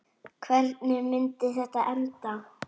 Hvernig myndi þetta enda?